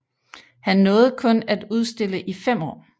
Han nåede kun at udstille i fem år